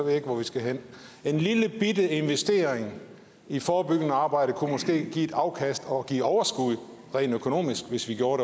jeg ikke hvor vi skal hen en lillebitte investering i forebyggende arbejde kunne måske give et afkast og give overskud rent økonomisk hvis vi gjorde